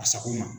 A sago ma